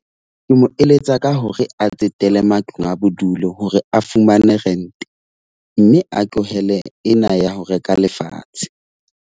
Ke mo eletsa ka hore a tsetele matlong a bodulo, hore a fumane rent. Mme a tlohele ena ya ho reka lefatshe.